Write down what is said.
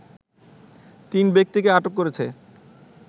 তিন ব্যক্তিকে আটক করেছে